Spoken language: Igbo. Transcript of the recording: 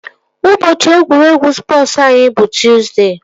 Ụbọchị egwuregwu spọsu anyị bụ Tọzdee